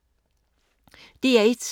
DR1